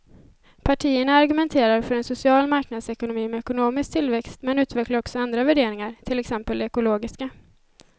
Partierna argumenterar för en social marknadsekonomi med ekonomisk tillväxt men utvecklar också andra värderingar, till exempel de ekologiska.